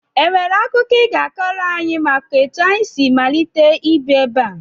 E nwere akụkọ I ga-akọrọ anyị maka etu anyị si malite ibi ebe a?